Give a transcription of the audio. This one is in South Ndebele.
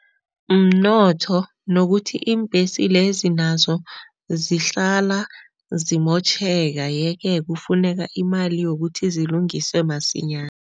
Mnotho nokuthi iimbhesi lezi nazo zihlala zimotjheka yeke kufuneka imali yokuthi zilungiswe masinyana.